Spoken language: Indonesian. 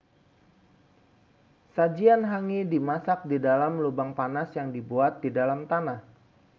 sajian hangi dimasak di dalam lubang panas yang dibuat di dalam tanah